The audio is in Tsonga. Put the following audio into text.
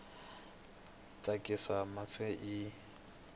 miehleketo ya tsakisa naswona i